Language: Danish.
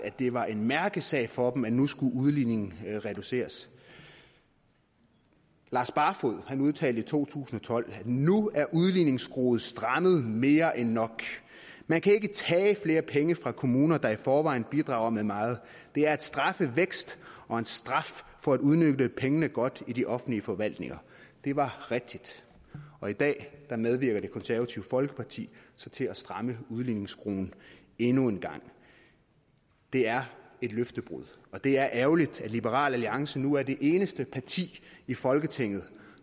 det var en mærkesag for dem at nu skulle udligningen reduceres lars barfoed udtalte i 2012 nu er udligningsskruen strammet mere end nok man kan ikke tage flere penge fra kommuner der i forvejen bidrager med meget det er at straffe vækst og en straf for at udnytte pengene godt i de offentlige forvaltninger det var rigtigt og i dag medvirker det konservative folkeparti så til at stramme udligningsskruen endnu en gang det er et løftebrud og det er ærgerligt at liberal alliance nu er det eneste parti i folketinget